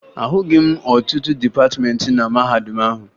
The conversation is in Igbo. Ahụghị m ọtụtụ dịpatịmeentị na mahadum ahụ